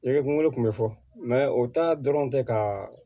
Ne ye kungolo kun bɛ fɔ o ta dɔrɔn tɛ ka